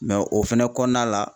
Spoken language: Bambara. o fɛnɛ kɔnɔna la